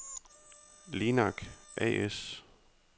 Linak A/S